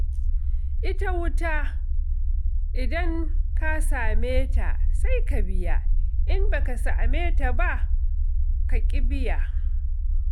Ita wuta idan ka same ta, sai ka biya, in ba ka samu ba, ka ƙi biya.